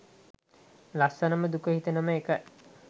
ලස්සනම දුක හිතෙනම එක